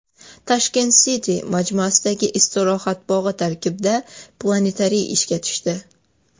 Tashkent City majmuasidagi istirohat bog‘i tarkibida planetariy ishga tushdi.